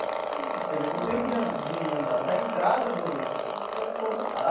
Quer dizer, o tempo de an de andar da entrada do... Até o ponto.